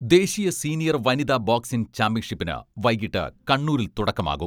ദേശീയ സീനിയർ വനിതാ ബോക്സിംഗ് ചാമ്പ്യൻഷിപ്പിന് വൈകീട്ട് കണ്ണൂരിൽ തുടക്കമാകും.